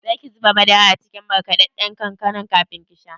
Zaki zuba madara a cikin markaɗaɗɗan kankanar kafin kisha?